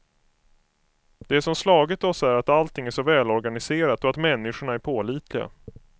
Det som slagits oss är att allting är så välorganiserat och att människorna är pålitliga.